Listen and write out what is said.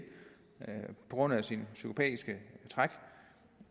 på grund af sine psykopatiske træk